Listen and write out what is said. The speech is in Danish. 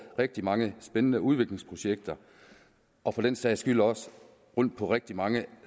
rigtig mange spændende udviklingsprojekter og for den sags skyld også på rigtig mange